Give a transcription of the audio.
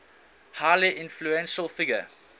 highly influential figure